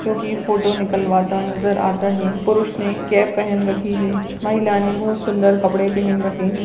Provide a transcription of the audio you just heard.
जो की फोटो निकलवाता नजर आता है पुरुष ने कैप पेहेन रखी है महिला ने बहुत सुंदर कपडे पेहेन रखे है।